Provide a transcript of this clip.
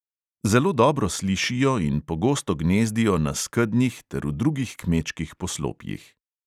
Zelo dobro slišijo in pogosto gnezdijo na skednjih ter v drugih kmečkih poslopjih.